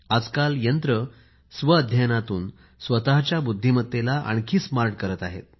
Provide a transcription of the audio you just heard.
आजकाल यंत्र स्व अध्यनातून स्वतःच्या बुद्धिमत्तेला आणखी स्मार्ट करत आहेत